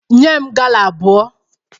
Nye m gala abụọ!